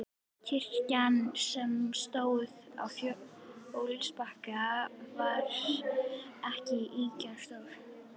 Kirkjan, sem stóð á fljótsbakkanum, var ekki ýkja stór.